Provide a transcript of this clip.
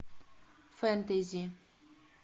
фэнтези